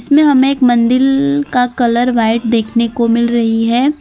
इसमें हमे एक मंदिल का कलर व्हाइट देखने को मील रही है।